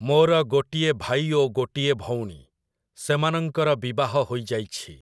ମୋର ଗୋଟିଏ ଭାଇ ଓ ଗୋଟିଏ ଭଉଣୀ । ସେମାନଙ୍କର ବିବାହ ହୋଇଯାଇଛି ।